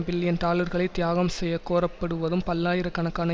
billion டாலர்களை தியாகம் செய்ய கோரப்படுவதும் பல்லாயிர கணக்கான